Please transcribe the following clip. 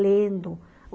Lendo.